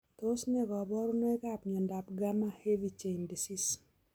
Tos ne kaborunoikab miondop gamma heavy chain disease?